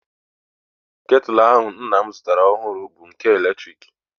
Ketụl ahụ nna m zụtara ọhụrụ bụ nke eletrik